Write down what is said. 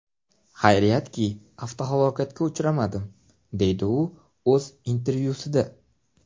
Xayriyatki, avtohalokatga uchramadim”, deydi u o‘z intervyusida.